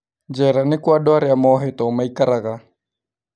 Njera nĩkuo andũ arĩa mohetwo maikaraga